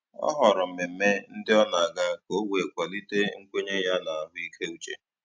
Ọ họrọ mmemme ndị o na aga ka o wee kwalite nkwenye ya na ahụ ike uche